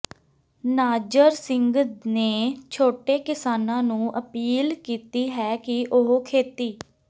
ਨਾਜਰ ਸਿੰਘ ਨੇ ਛੋਟੇ ਕਿਸਾਨਾਂ ਨੂੰ ਅਪੀਲ ਕੀਤੀ ਹੈ ਕਿ ਉਹ ਖੇਤੀ